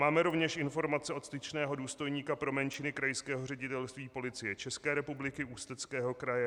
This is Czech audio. Máme rovněž informace od styčného důstojníka pro menšiny Krajského ředitelství Policie České republiky Ústeckého kraje.